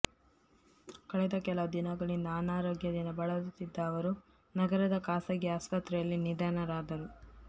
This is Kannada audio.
ಕಳೆದ ಕೆಲವು ದಿನ ಗಳಿಂದ ಅನಾ ರೋಗ್ಯದಿಂದ ಬಳಲುತ್ತಿದ್ದ ಅವರು ನಗರದ ಖಾಸಗಿ ಆಸ್ಪತ್ರೆಯಲ್ಲಿ ನಿಧನ ರಾದರು